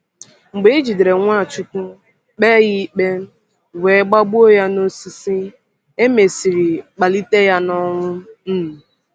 Mgbe e jidere Nwachukwu, kpee ya ikpe, were gbagbuo ya n’osisi, e mesịrị kpalite ya n’ọnwụ. um